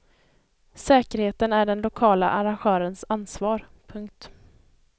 Säkerheten är den lokala arrangörens ansvar. punkt